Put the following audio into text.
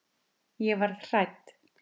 Ég varð hrædd.